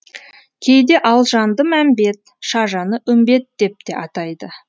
кейде алжанды мәмбет шажаны үмбет деп те атайды